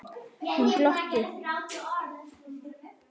Hún glotti.